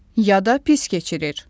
Ya da pis keçirir.